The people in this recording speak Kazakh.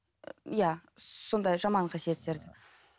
иә сондай жаман қасиеттерді